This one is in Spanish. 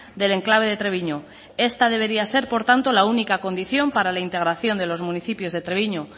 del enclave de treviño esta debería ser por tanto la única condición para la integración de los municipios de treviño